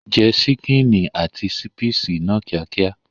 Jẹ ṣíkìnì àti ṣípìsì náà kíákíá.